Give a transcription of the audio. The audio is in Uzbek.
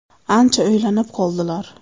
Ancha o‘ylanib qoldilar.